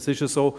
Das ist so.